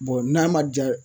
n'a ma ja